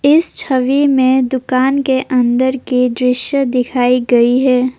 इस छवि में दुकान के अंदर की दृश्य दिखाई गई है।